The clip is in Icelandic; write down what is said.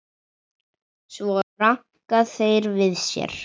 Svo ranka þeir við sér.